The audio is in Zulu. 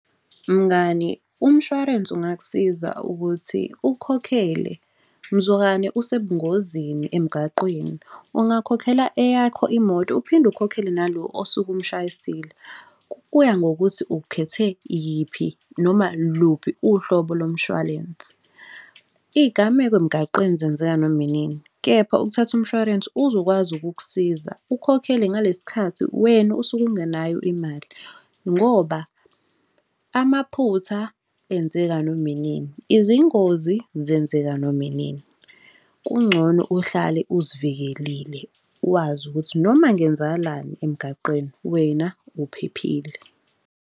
Mngani, umshwarensi ungakusiza ukuthi ukukhokhele mzukwane usebungozini emgaqweni ungakhokhela eyakho imoto, uphinde ukhokhele nalo osuke umushayisile. Kuya ngokuthi ukhethe yiphi, noma luphi uhlobo lomshwalensi. Iy'gameko emgwaqeni zenzeka noma inini, kepha ukuthatha umshwarensi uzokwazi ukukusiza ukukhokhele ngalesi sikhathi wena osuke ungenayo imali ngoba amaphutha enzeka noma inini, izingozi zenzeka noma inini. Kungcono uhlale uzivikelile wazi ukuthi noma kungenzakalani emgaqeni wena uphephile.